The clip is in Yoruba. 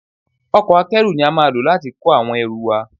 Ọkọ̀ Akẹ́rù ni a máa lò láti kó àwọn ẹrú wa